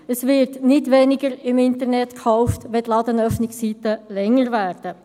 Es wird nicht weniger im Internet gekauft, wenn die Ladenöffnungszeiten länger werden.